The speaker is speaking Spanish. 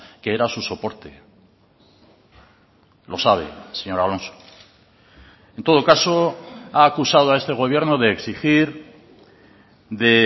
que era su soporte lo sabe señor alonso en todo caso ha acusado a este gobierno de exigir de